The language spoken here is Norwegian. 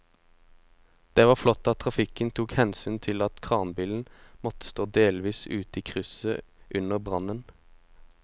Det var flott at trafikken tok hensyn til at kranbilen måtte stå delvis ute i krysset under brannen.